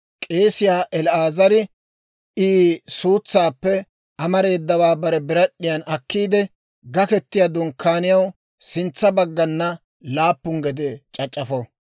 K'eesiyaa El"aazari I suutsaappe amareedawaa bare birad'd'iyan akkiide, Gaketiyaa Dunkkaaniyaw sintsa baggana laappun gede c'ac'c'afo.